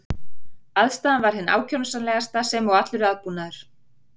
Aðstaðan var hin ákjósanlegasta sem og allur aðbúnaður.